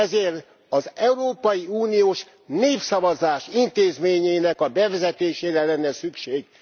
Ezért az európai uniós népszavazás intézményének a bevezetésére lenne szükség.